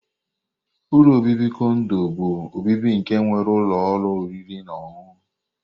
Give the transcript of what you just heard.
Ụlọ obibi kondo bu obibi nke nwere ọrụ ụlọ oriri na ọṅụṅụ.